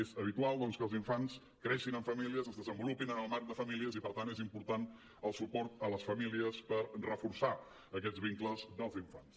és habitual doncs que els infants creixin en famílies es desenvolupin en el marc de famílies i per tant és important el suport a les famílies per reforçar aquests vincles dels infants